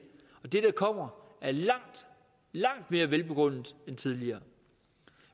og det der kommer er langt langt mere velbegrundet end tidligere